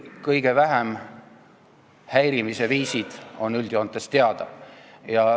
Kõige vähem häirivad viisid on üldjoontes teada.